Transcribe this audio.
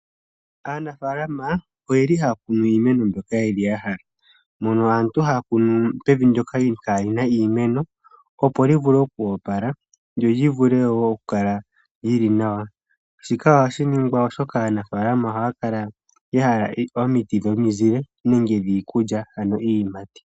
Aanafalama ohaya kunu iimeno mbyono ya hala mono aantu haya kunu pevu ndyoka kaalina iimeno, opo li vule okuopala lyo li vule ku kala lyili nawa. Shika ohashi ningwa oshoka aanafalama ohaya kala ya hala omiti dhominzile, dhiikulya nenge dhiiyimati.